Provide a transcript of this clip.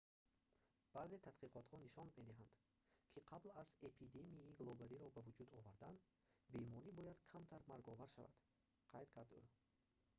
баъзе тадқиқотҳо нишон медиҳанд ки қабл аз эпидемияи глобалиро ба вуҷуд овардан беморӣ бояд камтар марговар шавад қайд кард ӯ